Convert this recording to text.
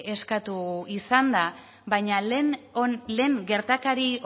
eskatu izan da baina lehen gertakari